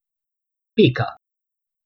Pika!